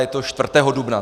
Je to 4. dubna.